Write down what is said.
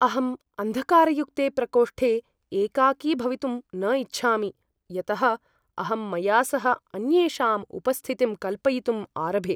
अहम् अन्धकारयुक्ते प्रकोष्ठे एकाकी भवितुम् न इच्छामि यतः अहं मया सह अन्येषाम् उपस्थितिं कल्पयितुं आरभे।